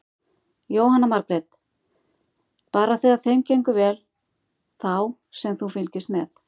Jóhanna Margrét: Bara þegar þeim gengur vel þá sem þú fylgist með?